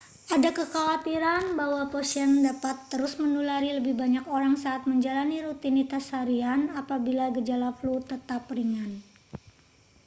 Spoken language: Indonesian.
ada kekhawatiran bahwa pasien dapat terus menulari lebih banyak orang saat menjalani rutinitas harian apabila gejala flu tetap ringan